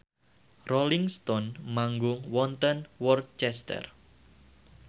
Rolling Stone manggung wonten Worcester